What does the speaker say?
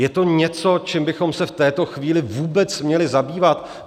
Je to něco, čím bychom se v této chvíli vůbec měli zabývat?